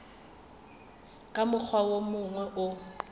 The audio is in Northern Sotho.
ka mokgwa wo mongwe o